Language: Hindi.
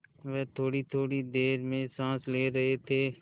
वह थोड़ीथोड़ी देर में साँस ले रहे थे